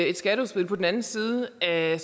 et skatteudspil på den anden side af